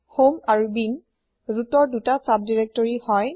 home আৰু bin Rootৰ ২টা চাব দিৰেক্তৰি হয়